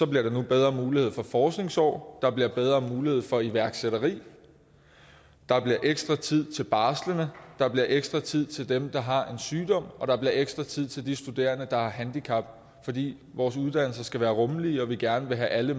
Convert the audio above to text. bliver nu bedre mulighed for forskningsår der bliver bedre mulighed for iværksætteri der bliver ekstra tid til barslende der bliver ekstra tid til dem der har en sygdom og der bliver ekstra tid til de studerende der har et handicap fordi vores uddannelser skal være rummelige og vi gerne vil have alle